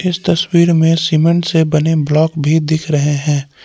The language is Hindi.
इस तस्वीर में सीमेंट से बने ब्लॉक भी दिख रहे हैं।